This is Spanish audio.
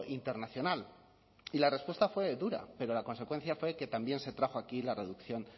internacional y la respuesta fue dura pero la consecuencia fue que también se trajo aquí la reducción